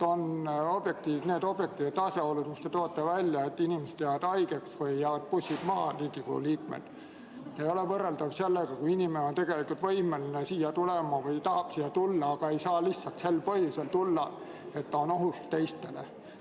Need objektiivsed asjaolud, mis te välja tõite, et Riigikogu liikmed jäävad haigeks või jäävad bussist maha, ei ole võrreldavad sellega, kui inimene on tegelikult võimeline siia tulema või tahab siia tulla, aga ei saa lihtsalt sel põhjusel tulla, et ta on ohuks teistele.